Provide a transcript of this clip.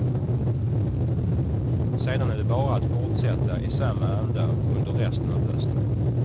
Sedan är det bara att fortsätta i samma anda under resten av hösten.